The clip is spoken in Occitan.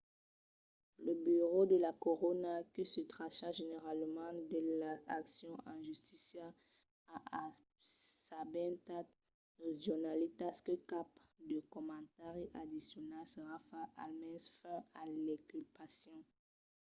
lo burèu de la corona que se tracha generalament de las accions en justícia a assabentat los jornalitas que cap de comentari addicional serà fach almens fins a l'inculpacion